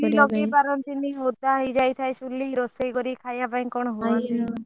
ଚୁଲି ଲଗେଇ ପାରନ୍ତିନି ଓଦା ହେଇ ଯାଇଥାଏ ଚୁଲି ରୋଷେଇ କରି ଖାଇବା ପାଇଁ କଣ ହୁଅନ୍ତି।